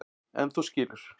En þú skilur.